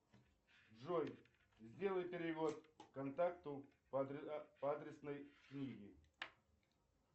джой сделай перевод контакту по адресной книге